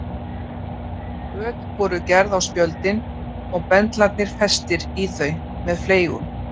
Göt voru gerð á spjöldin og bendlarnir festir í þau með fleygum.